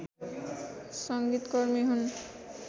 संगीतकर्मी हुन्